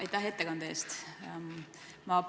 Aitäh ettekande eest!